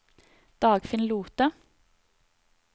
Dagfinn Lothe